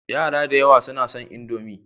Yara da yawa suna son Indomi.